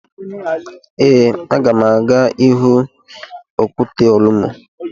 Ee, aga m aga ịhụ okwute Olumo.